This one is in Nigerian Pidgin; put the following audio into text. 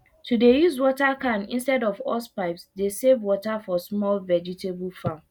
to de use water cans instead of hosepipes de save water for small vegetable farm